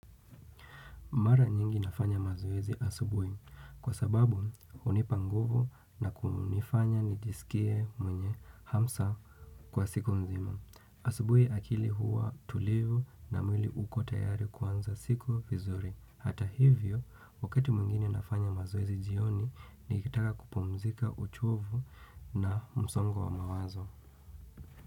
Mara nyingi nafanya mazoezi asubuhi kwa sababu hunipa nguvu na kunifanya nijisikie mwenye hamsa kwa siku nzima. Asubuhi akili huwa tulivu na mwili ukot ayari kwanza siku vizuri. Hata hivyo, wakati mwingine nafanya mazoezi jioni, nikitaka kupumzika uchovu na msongo wa mawazo.